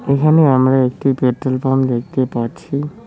এখানে আমরা একটি পেট্রোল পাম্প দেখতে পাচ্ছি।